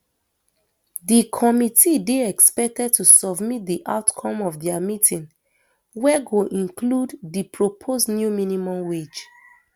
di committee dey expected to submit di outcome of dia meeting wey go include di proposed new minimum wage